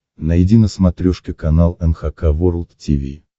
найди на смотрешке канал эн эйч кей волд ти ви